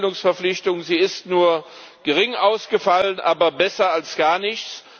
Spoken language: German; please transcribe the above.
Die Fortbildungsverpflichtung ist nur gering ausgefallen, aber besser als gar nichts.